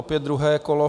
Opět druhé kolo.